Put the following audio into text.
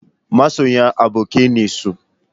Masoyan abokai ne su?